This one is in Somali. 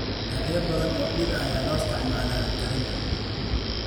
Noocyo badan oo dhir ah ayaa loo isticmaalaa karinta.